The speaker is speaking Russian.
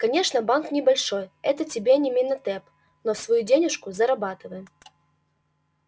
конечно банк небольшой это тебе не менатеп но свою денежку зарабатываем